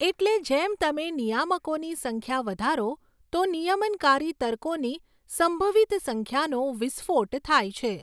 એટલે જેમ તમે નિયામકોની સંખ્યા વધારો તો નિયમનકારી તર્કોની સંભવિત સંખ્યાનો વિસ્ફોટ થાય છે.